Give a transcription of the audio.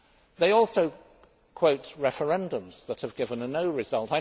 They also quote referendums that have given a no' result.